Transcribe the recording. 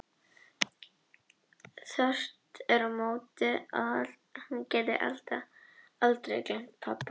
Þvert á móti óttaðist ég alltaf að hún gæti aldrei gleymt pabba.